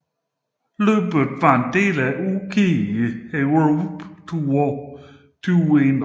Løbet var en del af UCI Europe Tour 2021